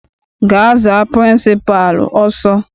Gaa za pịrịnsịpalụ ọsọ!